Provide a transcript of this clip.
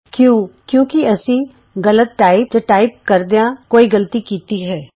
ਕਿਉਂ ਕਿਉਂਕਿ ਅਸੀਂ ਗ਼ਲਤ ਟਾਈਪ ਜਾਂ ਟਾਈਪ ਕਰਦਿਆਂ ਕੋਈ ਗ਼ਲਤੀ ਕੀਤੀ ਹੈ